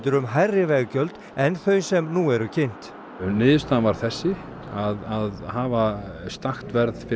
um hærri veggjöld en þau sem nú eru kynnt niðurstaðan var þessi að hafa stakt verð